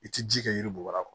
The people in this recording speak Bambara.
I ti ji kɛ yiri bɔgɔ